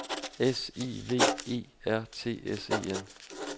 S I V E R T S E N